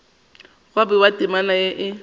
gwa bewa temana ye e